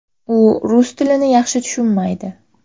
U rus tilini yaxshi tushunmaydi.